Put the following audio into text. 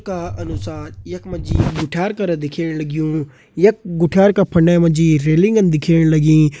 का अनुसार यक मजी गुठ्यार करा दिखेण लग्युं। यक गुठ्यार क फंडे मजी रेलिंगन दिखेण लगीं।